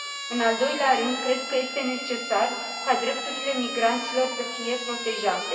În al doilea rând, cred că este necesar ca drepturile migranților să fie protejate.